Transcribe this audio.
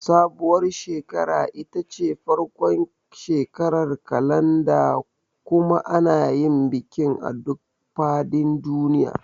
Sabuwar shekara ita ce farkon shekarar kalanda kuma ana yin bikin a duk fadin duniya.